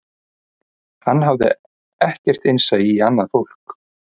Hann hafði ekkert innsæi í annað fólk